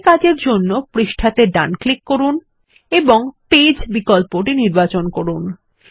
এই কাজের জন্য পৃষ্ঠাতে ডান ক্লিক করুন এবং পেজ বিকল্পটি নির্বাচন করুন